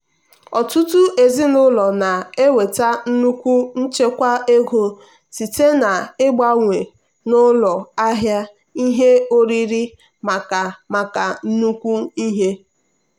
ọtụtụ ezinụlọ na-enweta nnukwu nchekwa ego site na-ịgbanwe n'ụlọ ahịa ihe oriri maka maka nnukwu ihe.